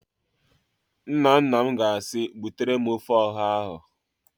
Nnanna m ga-asị, "butere m ofe ọha ahụ"!